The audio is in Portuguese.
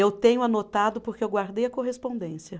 Eu tenho anotado porque eu guardei a correspondência.